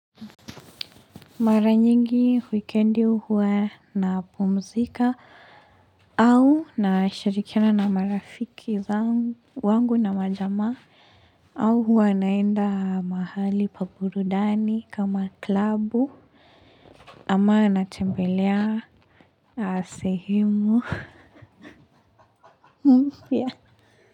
Mara nyingi wikendi huwa napumzika au nasharikina na marafiki wangu na majama au huwa naenda mahali pa burudani kama klabu ama natembelea sehemu mpya.